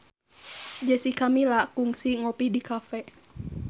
Jessica Milla kungsi ngopi di cafe